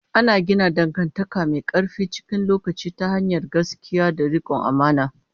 Ana gina dangantaka mai ƙarfi cikin lokaci ta hanyar gaskiya da riƙon amana.